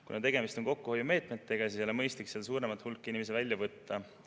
Kuna tegemist on kokkuhoiumeetmetega, siis ei ole mõistlik sealt suuremat hulka inimesi välja võtta.